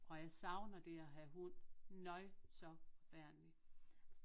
Og jeg savner det at have hund nøj så forfærdeligt